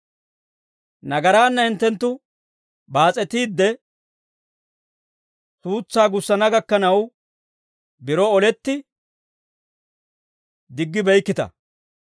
Nagaraanna hinttenttu baas'etiidde, suutsaa gussana gakkanaw biro oletti diggibeykkita.